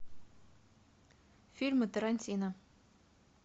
фильмы тарантино